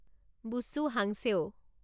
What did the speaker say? বুছু হাংছেউ